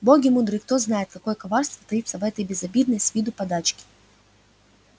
боги мудры кто знает какое коварство таится в этой безобидной с виду подачке